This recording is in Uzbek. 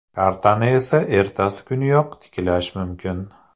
Kartani esa ertasi kuniyoq tiklash mumkin.